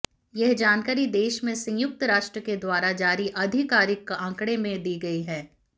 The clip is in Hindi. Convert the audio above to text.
यह जानकारी देश में संयुक्त राष्ट्र के द्वारा जारी आधिकारिक आंकड़े में दी गई है